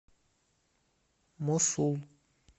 мосул